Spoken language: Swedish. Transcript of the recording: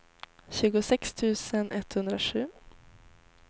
tjugosex tusen etthundrasju